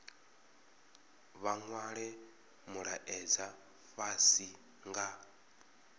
vha nwale mulaedza fhasi nga